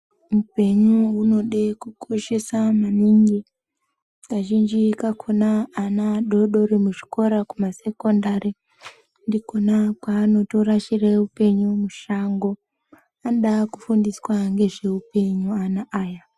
Upenyu unode kukoshesa maningi kazhinji kakona ana adodori muzvikora kumasekondari ndikona kwaanotorashire upenyu mushango, anoda kufundiswa nezveupenyu ana aya.